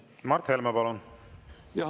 Mart Helme, palun!